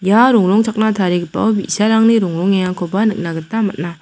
ia rongrongchakna tarigipao bi·sarangni rongrongengakoba nikna gita man·a.